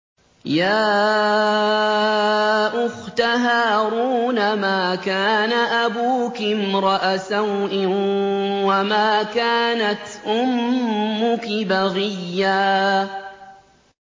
يَا أُخْتَ هَارُونَ مَا كَانَ أَبُوكِ امْرَأَ سَوْءٍ وَمَا كَانَتْ أُمُّكِ بَغِيًّا